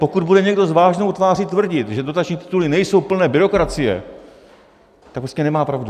Pokud bude někdo s vážnou tváří tvrdit, že dotační tituly nejsou plné byrokracie, tak prostě nemá pravdu.